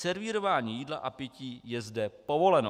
Servírování jídla a pití je zde povoleno.